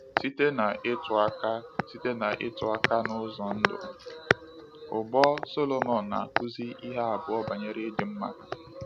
Site n’ịtụ aka Site n’ịtụ aka n’ụzọ ndụ ugbo, Sọlomon na-akụzi ihe abụọ banyere ịdị mma.